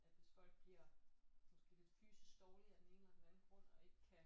At hvis folk bliver måske lidt fysisk dårlige af den ene eller den anden grund og ikke kan